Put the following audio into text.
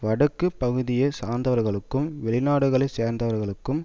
வடக்கு பகுதியை சார்ந்தவர்களுக்கும் வெளிநாடுகளை சேர்ந்தவர்களுக்கும்